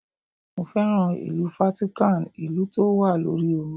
Mo féràn ìlú Fátíkàn, ìlú tó wà lórí omi.